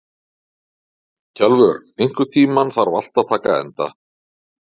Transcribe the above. Kjalvör, einhvern tímann þarf allt að taka enda.